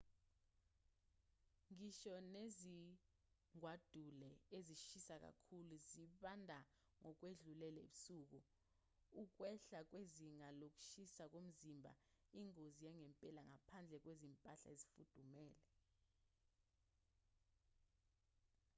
ngisho nezingwadule ezishisa kakhulu zibanda ngokwedlulele ebusuku.ukwehla kwezinga lokushisa komzimba ingozi yangempela ngaphandle kwezimpahla ezifudumele